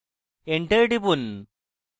enter টিপুন